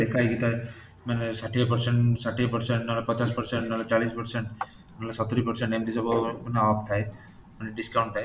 ଲେଖା ହେଇକି ଥାଏ ମାନେ ଷାଠିଏ percent , ଷାଠିଏ percent ନ ହେଲେ ପଚାଶ percent , ନ ହେଲେ ଚାଳିଶ percent ନ ହେଲେ ସତୁରି percent ଏମିତି ସବୁ ମାନେ off ଥାଏ ମାନେ discount ଥାଏ